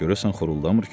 Görəsən xoruldamır ki, bu?